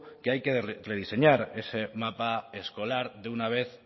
que hay que rediseñar ese mapa escolar de una vez